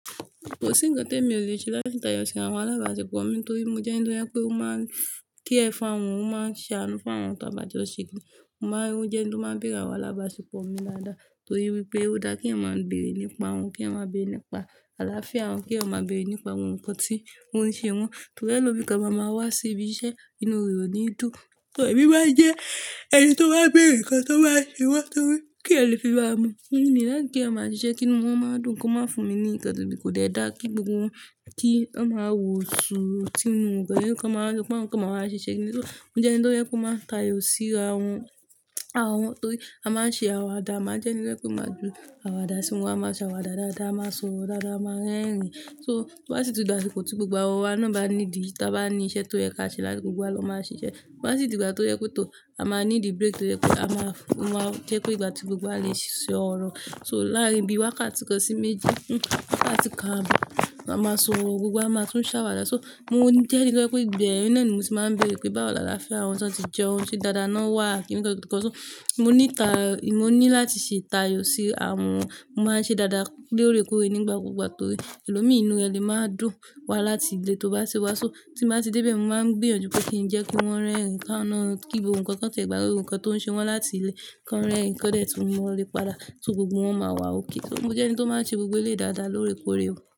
Kò sí ń kan tèmi ò lè ṣe láti tayọ sí àwọn alábàáṣepọ̀ mi torí mo jẹ́ ẹni tó yẹ pè mó máa kí ẹ̀ fún awọn, ó máa ṣe àánú fún awọn tá bá jó ṣìkì. Mo máa ń jẹ́ ẹni tó máa ń bèèrè àwọn alábàáṣepọ̀ mi daadaá torí wípé ó dára kí ẹ̀yáń maa bèrè nípa wọn, kí ẹ̀yan maa bèrè nípa àlàáfíà wọn, kí ẹ̀yan maa bèrè nípa ohun kan tí wọ́n ń ṣe wọn. Torí ẹlòmíràn máa wá sí ibi iṣẹ́ inu re oni dun, torí ẹbí máa jẹ́ ẹni tó bá ń bèrè nǹkan tó bá ṣe wọ́n torí kí ẹ lè fi bá a mọ̀. Nígbà tí ẹ̀mi bá kí ẹ̀má ń ṣiṣẹ́ kí ni wọ́n máa ń dùn ún kó má fún mi ní ǹkan tí kò dára kí gbogbo wọn kí wọ́n máa wòsù tínú ǹkan yẹn kí wọ́n kó máa wá ṣiṣẹ́. Ní bí tó, mo jẹ́ ẹni tó yẹ kó máa tayọ̀ síra àwọn, àwọn torí a máa ń ṣe àwàdà. A máa ń jẹ́ ẹni tó yẹ kó máa gbé àwàdà sínu wá. A máa ṣe àwàdà dáadáa, a máa sọ̀rọ̀ dáadáa, a máa rẹ́rìn-ín. So to ba sì ti dàsiko tí gbogbo awa náà bá ní ìdí tí a bá ní iṣẹ́ tó yẹ kí a ṣe láti gbogbo àlọ́ máa ṣiṣẹ́. To ba sì ti dàgbà tó yẹ kó tó a máa ní the break tó yẹ ki a máa fún wọn jẹ́ pé ìgbà tí gbogbo a lè ṣiṣẹ́ ọ̀rọ̀. So láàárín bí wá ká ti kan sí méjì, ká ti ká àbọ̀, a máa sọ̀rọ̀ gbogbo a máa tún ṣàwàdà. So mo jẹ́ ẹni tó jẹ pe kó ibeyẹn na, náà ni mo tì máa ń bèrè pé báwo làlàáfíà àwọn tí wọ́n ti jẹun ṣe dáadáa náà wà? Kí ni ǹkan tí Mo ní ta, mo ní láti ṣe tayọ̀ sí àwọn, mo máa ń ṣe dáadáa lóòrèkóòrè nígbà gbogbo torí ẹlòmíràn inú ẹni máa dùn wá láti ilé tó bá ṣe wá. So tí mo bá ti dé bẹ̀, mo máa ń gbìyànjú pé kí n jẹ́ kó wọ́n rẹ́rìn-ín ká iná kí gbogbo ǹkan kan ti e gbagbe ǹkan tó ń ṣe wọ́n láti ilé kí wọ́n rẹ́rìn-ín kọ́lẹ̀ tí mo lè padà so gbogbo wọn máa wá okay. Torí mo jẹ́ ẹni tó máa ń ṣe gbogbo ilé dáadáa lóòrèkóòrè.